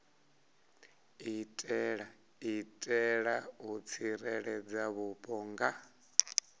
itela u tsireledza vhupo nga